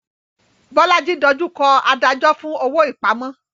Bolaji dojú kọ adájọ́ fún owó ìpamọ́.